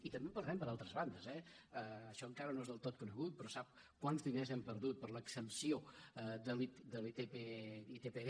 i també en perdem per altres bandes eh això encara no és del tot conegut però sap quants diners hem perdut per l’exempció de l’itpd